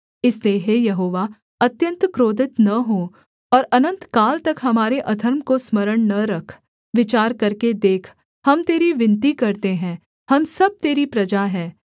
इसलिए हे यहोवा अत्यन्त क्रोधित न हो और अनन्तकाल तक हमारे अधर्म को स्मरण न रख विचार करके देख हम तेरी विनती करते हैं हम सब तेरी प्रजा हैं